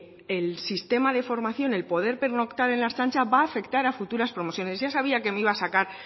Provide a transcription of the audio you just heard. el sistema de formación el poder pernoctar en la ertzaintza va afectar a futuras promociones ya sabía que me iba a sacar